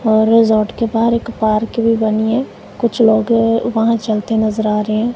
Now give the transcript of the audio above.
और रिजॉर्ट के पास एक पार्क भी बनी है कुछ लोग वहां चलते नजर आ रहे हैं।